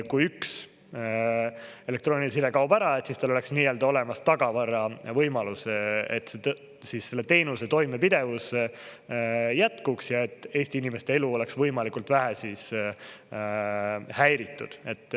Kui üks elektrooniline side kaob ära, et tal oleks olemas tagavaravõimalus, et selle teenuse toimepidevuse jätkuks ja et Eesti inimeste elu oleks võimalikult vähe häiritud.